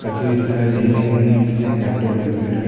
रखी हुई दिखाई दे रही है लैपटॉप कंप्यूटर --